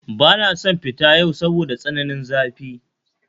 Bana son fita yau saboda tsananin zafi